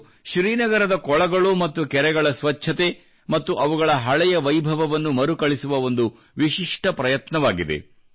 ಇದು ಶ್ರೀನಗರದ ಕೊಳಗಳು ಮತ್ತು ಕೆರೆಗಳ ಸ್ವಚ್ಛತೆ ಮತ್ತು ಅವುಗಳ ಹಳೆಯ ವೈಭವವನ್ನು ಮರುಕಳಿಸುವ ಒಂದು ವಿಶಿಷ್ಟ ಪ್ರಯತ್ನವಾಗಿದೆ